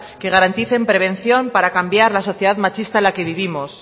que garanticen prevención para cambiar la sociedad machista en la que vivimos